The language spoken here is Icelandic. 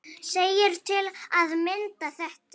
segir til að mynda þetta